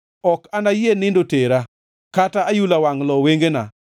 Ok anayie nindo tera, kata ayula wangʼ lo wengena,